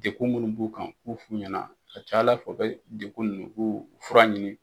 Dekun minnu b'u kan u k'u f'u ɲɛna a ka ca Ala fɛ u bɛ dekun ninnu u b'u fura ɲini.